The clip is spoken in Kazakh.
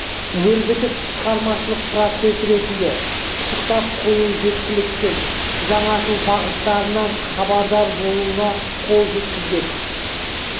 өрбітіп шығармашылық процесс ретінде пысықтап қою жеткіліксіз жаңашыл бағыттарынан хабардар болуына қол жеткізбек